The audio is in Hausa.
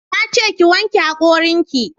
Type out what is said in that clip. Na ce ki wanke hakorin ki